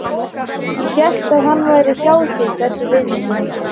Ég hélt að hann væri hjá þér þessi vinur þinn.